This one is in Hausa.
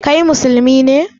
Kai musulmi ne?